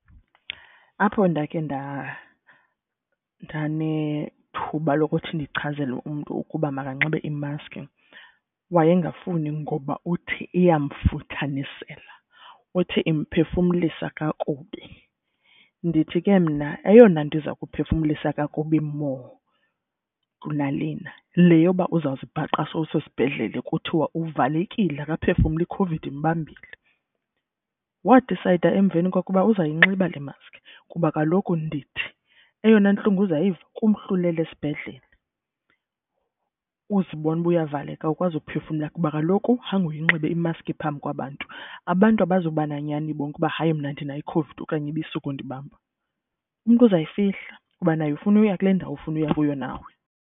Apho ndakhe ndanethuba lokuthi ndichazela umntu ukuba makanxibe imaski wayengafuni ngoba uthi iyamfuthanisela. Uthi imphefumlisa kakubi. Ndithi ke mna eyona nto iza kumphefumlisa kakubi more kunalena le yoba uza zibhaqa sowusesibhedlele. Kuthiwa uvalekile akaphefumli iCOVID imbambile, wadisayida emveni koko uzayinxiba le mask. Kuba kaloku ndithi eyona ntlungu uzayiva kumhla ulele esibhedlele, uzibone uba uyavaleka awukwazi kuphefumla. Kuba kaloku khange uyinxibe imaski phambi kwabantu. Abantu abazoba nanyani bonke uba hayi mna ndinayo iCOVID okanye ibisuka undibamba. Umntu uzayifihla kuba naye ufuna ukuya kule ndawo ufuna uya kuyo nawe.